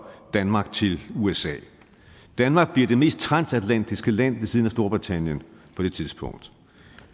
danmark til usa danmark bliver det mest transatlantiske land ved siden af storbritannien på det tidspunkt